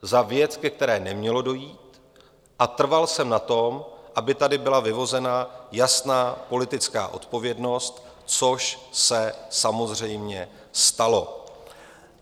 Za věc, ke které nemělo dojít, a trval jsem na tom, aby tady byla vyvozena jasná politická odpovědnost, což se samozřejmě stalo.